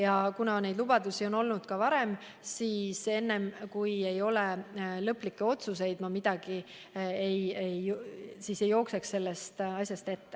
Aga kuna neid lubadusi on olnud ka varem, siis enne, kui ei ole lõplikke otsuseid, ma ei jookseks sellest asjast ette.